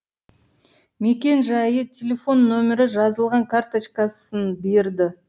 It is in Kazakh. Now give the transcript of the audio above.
мекен жайы телефон нөмірі жазылған карточкасын берді